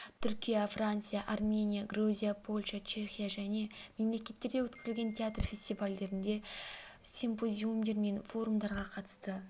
түркия франция армения грузия польша чехия және мемлекеттерде өткізілген театр фестивальдерінде симпозиумдар мен форумдарға қатысты